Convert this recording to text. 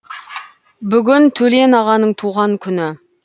бүгін төлен ағаның туған күні